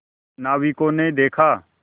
नाविकों ने देखा